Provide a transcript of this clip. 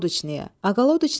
Aqaçnı Pristava.